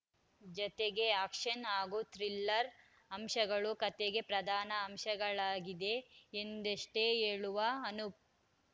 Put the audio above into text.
ಜತೆಗೆ ಆ್ಯಕ್ಷನ್‌ ಹಾಗೂ ಥ್ರಿಲ್ಲರ್‌ ಅಂಶಗಳು ಕತೆಯ ಪ್ರಧಾನ ಅಂಶವಾಗಲಿದೆ ಎಂದಷ್ಟೇ ಹೇಳುವ ಅನೂಪ್‌